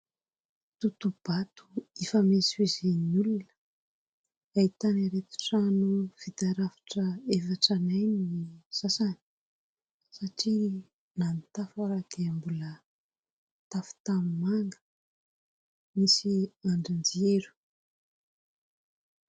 Tohatohabato ifamezivezen'ny olona. Ahitana ireto trano vita rafitra efa tranainy ny sasany satria na ny tafo ary dia mbola tafo tanimanga, misy andrin-jiro.